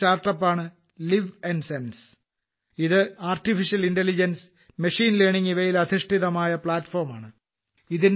മറ്റൊരു സ്റ്റാർട്ട് അപ്പാണ് ലിവ്ൻസെൻസ് ഇത് ആർട്ടിഫിഷ്യൽ ഇന്റലിജൻസ് മച്ചിനെ ലെയർനിങ് ഇവയിൽ അധിഷ്ഠിതമായ പ്ലാറ്റ്ഫോം ആണ്